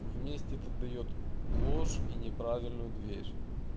вместе то даёт ложь и неправильную дверь